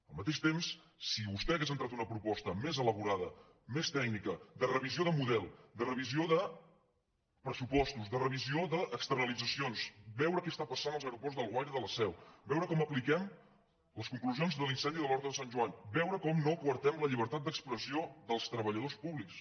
al mateix temps si vostè hagués entrat una proposta més elaborada més tècnica de revisió de model de revisió de pressupostos de revisió d’externalitzacions veure què passa als aeroports d’alguaire i de la seu veure com apliquem les conclusions de l’incendi d’horta de sant joan veure com no coartem la llibertat d’expressió dels treballadors públics